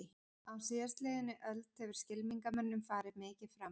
Á síðastliðinni öld hefur skylmingamönnum farið mikið fram.